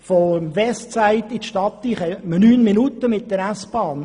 Vom Westside in die Stadt braucht man 9 Minuten mit der SBahn.